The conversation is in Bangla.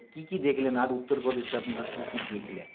কী কী দেখলেন আর উত্তর প্রদেশে আপনারা কী কী দেখলেন